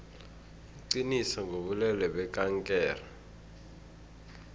iqiniso ngobulwelwe bekankere